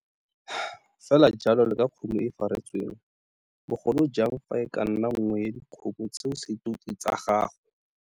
Fe la jalo le ka kgomo e faretsweng, bogolo jang fa e ka nna nngwe ya dikgomo tseo setuti tsa gago.